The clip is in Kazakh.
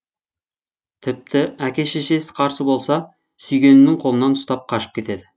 тіпті әке шешесі қарсы болса сүйгенінің қолынан ұстап қашып кетеді